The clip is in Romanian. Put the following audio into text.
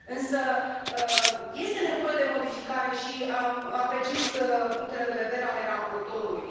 Însă este nevoie de modificare și apreciez punctele de vedere ale raportorului.